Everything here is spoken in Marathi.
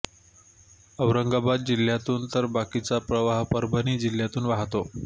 औरंगाबाद जिल्ह्यातून तर बाकीचा प्रवाह परभणी जिल्ह्यातून वाहतो